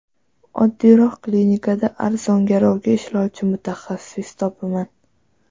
Oddiyroq klinikada arzon-garovga ishlovchi mutaxassis topaman.